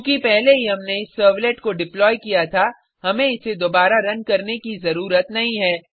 चूँकि पहले ही हमने इस सर्वलेट को डिप्लॉय किया था हमें इसे दोबारा रन करने की ज़रूरत नहीं है